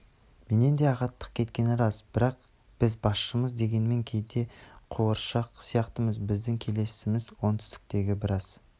менен де ағаттық кеткені рас бірақ біз басшымыз дегенмен кейде қуыршақ сияқтымыз біздің келісімімізсіз оңтүстіктегі біраз